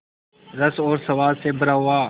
रस और स्वाद से भरा हुआ